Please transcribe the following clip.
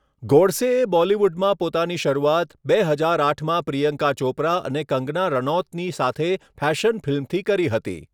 ગોડસેએ બોલિવૂડમાં પોતાની શરૂઆત બે હજાર આઠમાં પ્રિયંકા ચોપરા અને કંગના રણૌતની સાથે ફેશન ફિલ્મથી કરી હતી.